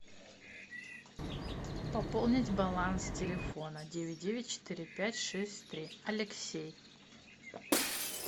пополнить баланс телефона девять девять четыре пять шесть три алексей